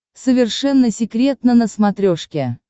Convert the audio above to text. совершенно секретно на смотрешке